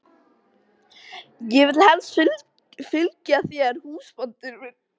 Ég vil helst fylgja þér húsbóndi minn.